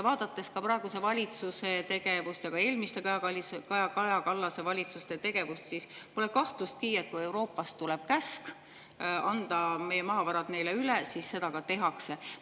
Vaadates praeguse valitsuse ja ka eelmiste, Kaja Kallase valitsuste tegevust, siis pole kahtlustki, et kui Euroopast tuleb käsk anda meie maavarad neile üle, siis seda ka tehakse.